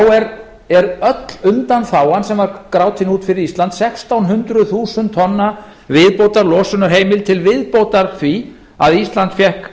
þá er öll undanþágan sem var grátin út fyrir ísland sextán hundruð þúsund tonna viðbótarlosunarheimild til viðbótar því að ísland fékk